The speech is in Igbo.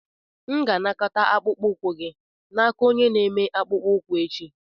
M ga-anakọta akpụkpọ ụkwụ gị n'aka onye na-eme akpụkpọ ụkwụ echi.